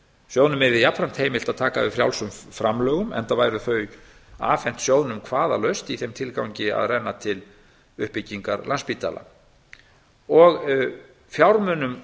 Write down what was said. sjóðnum yrði jafnframt heimilt að taka við frjálsum framlögum enda væru þau afhent sjóðnum kvaðalaust í þeim tilgangi að renna til uppbyggingar landspítala fjármunum